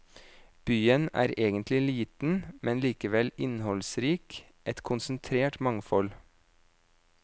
Byen er egentlig liten, men likevel innholdsrik, et konsentrert mangfold.